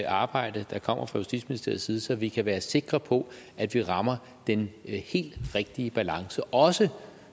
arbejde der kommer fra justitsministeriets side så vi kan være sikre på at vi rammer den helt rigtige balance også